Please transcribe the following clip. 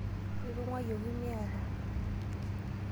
Itung'wayioki miata.